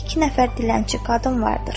İki nəfər dilənçi qadın vardır.